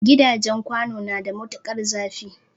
Gidajen kwano na da matukar zafi